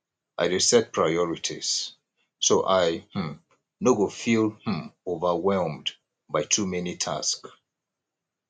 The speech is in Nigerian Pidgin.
i dey set priorities so i um no go feel um overwhelmed by too many tasks